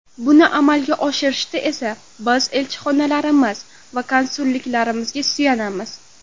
Buni amalga oshirishda esa biz elchixonalarimiz va konsulliklarimizga suyanamiz.